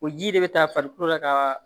O ji de bɛ taa farikolo la kaaa